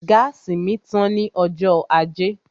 Gáàsì mi tán ní ọjọ́ ajé